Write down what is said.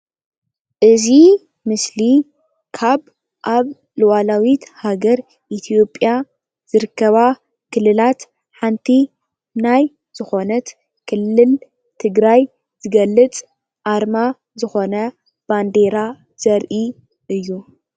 እዚ ምስሊ ካብ ኣብ ሉኣላዊት ሃገር ኢትዮጵያ ዝርከባ ኽልላት ሓንቲ ናይ ዝኾነት ኽልል ትግራይ ዝገልፅ ኣርማ ዝኾነ ባንዴራ ዘርኢ እዪ።